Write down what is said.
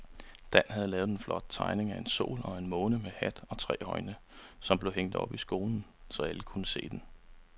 Dan havde lavet en flot tegning af en sol og en måne med hat og tre øjne, som blev hængt op i skolen, så alle kunne se den.